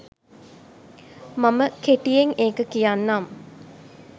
මම කෙටියෙන් ඒක කියන්නම්.